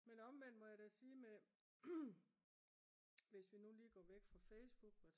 men omvendt må jeg da sige hvis vi nu lige går væk fra Facebook